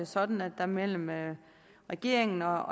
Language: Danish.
sådan at der mellem mellem regeringen og